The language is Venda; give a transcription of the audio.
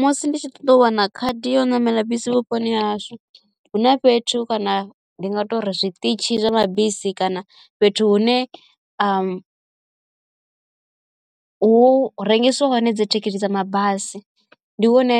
Musi nditshi ṱoḓa u wana khadi ya u ṋamela bisi vhuponi hashu hu na fhethu kana ndi nga tori zwiṱitshi zwa mabisi kana fhethu hune u hu rengisiwa hone dzi thikhithi dza mabasi ndi hune